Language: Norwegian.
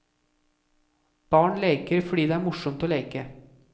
Barn leker fordi det er morsomt å leke.